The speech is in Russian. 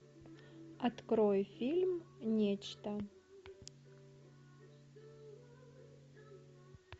открой фильм нечто